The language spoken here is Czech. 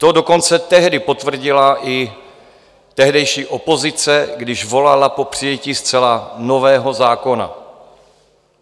To dokonce tehdy potvrdila i tehdejší opozice, když volala po přijetí zcela nového zákona.